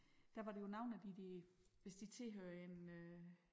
Der var der jo nogle af de der hvis de tilhører en øh